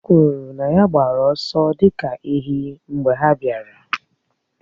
O kwuru na ya gbara ọsọ dị ka ewị́ mgbe ha bịara.